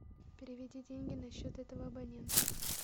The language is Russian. переведи деньги на счет этого абонента